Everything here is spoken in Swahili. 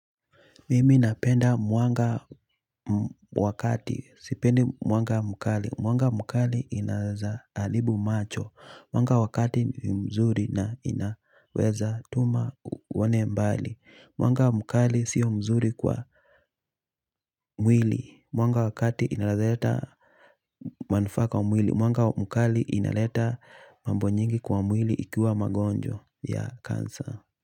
Mimi napenda mwanga wakati, sipendi mwanga mkali mwanga mkali inaeza haribu macho mwanga wakati mzuri na inaweza tuma uone mbali mwanga mkali sio mzuri kwa mwili mwanga wakati inaeza leta manufaa kwa mwili mwanga mkali inaleta mambo nyingi kwa mwili ikiwa magonjwa ya kansa.